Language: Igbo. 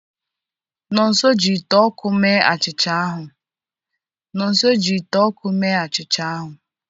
Nonso ji ite ọkụ mee achịcha ahụ.